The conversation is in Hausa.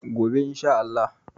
gobe in Sha Allah